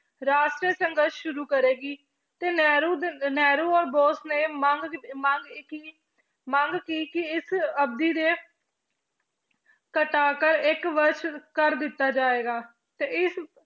ਰਾਸ਼ਟਰ ਸੰਘਰਸ਼ ਸ਼ੁਰੂ ਕਰੇਗੀ ਤੇ ਨਹਿਰੂ ਦੇ, ਨਹਿਰੂ ਔਰ ਬੋਸ਼ ਨੇ ਮੰਗ ਮੰਗ ਕੀ ਕਿ ਇਸ ਅਵਧੀ ਦੇ ਘਟਾ ਕਰ ਇੱਕ ਵਰਸ਼ ਕਰ ਦਿੱਤਾ ਜਾਏਗਾ ਤੇ ਇਸ